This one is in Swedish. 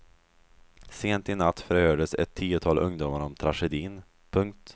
Sent i natt förhördes ett tiotal ungdomar om tragedin. punkt